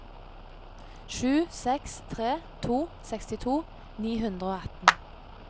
sju seks tre to sekstito ni hundre og atten